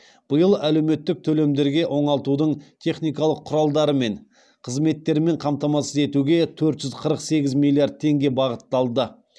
биыл әлеуметтік төлемдерге оңалтудың техникалық құралдары мен қызметтермен қамтамасыз етуге төрт жүз қырық сегіз миллиард теңге бағытталды